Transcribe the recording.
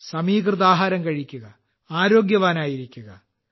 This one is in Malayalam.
സമീകൃതാഹാരം കഴിക്കുക ആരോഗ്യവാനായിരിക്കുക